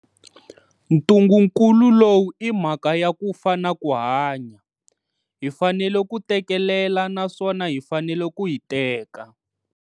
Ntungukulu lowu i mhaka ya ku fa na ku hanya. Hi fanele ku tekelela naswona hi fanele ku hiteka.